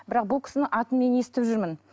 бірақ мен бұл кісінің атын мен естіп жүрмін